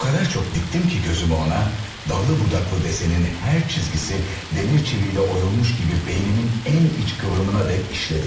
O qədər çox diptim ki gözümü ona, dallı-budaklı desenin hər çizgisi dəmir çiviylə oyulmuş kimi beynimin ən iç kıvrımına dek işlədi.